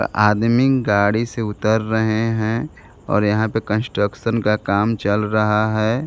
आदमी गाड़ी से उतर रहे हैं और यहां पर कंस्ट्रक्शन का काम चल रहा है।